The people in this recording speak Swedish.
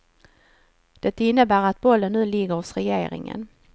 Det innebär att bollen nu ligger hos regeringen.